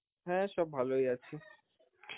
হ্যাঁ সব ভালোই আছে.